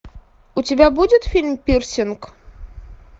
у тебя будет фильм пирсинг